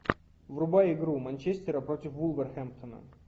врубай игру манчестера против вулверхэмптона